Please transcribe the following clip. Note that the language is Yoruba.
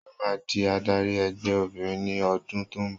Ṣẹ́ o máa di adarí ẹgbẹ́ obìnrin ní ọdún tó ń bọ̀.